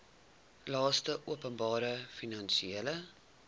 laste openbare finansiële